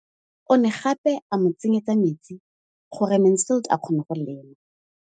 O ne gape a mo tsenyetsa metsi gore Mansfield a kgone go lema.